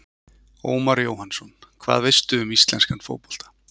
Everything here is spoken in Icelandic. Ómar Jóhannsson Hvað veistu um íslenska fótbolta?